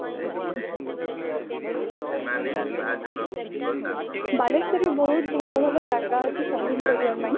ବାଲେଶ୍ବର ରେ ବହୁତ ଭଲ ଭଲ ଜାଗା ଅଛି shopping କରିବା ପାଇଁ ।